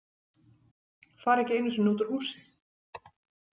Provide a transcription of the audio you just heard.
Fara ekki einu sinni út úr húsi.